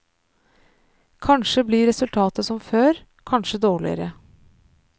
Kanskje blir resultatet som før, kanskje dårligere.